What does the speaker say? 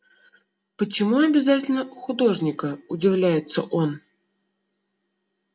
почему обязательно художника удивляется он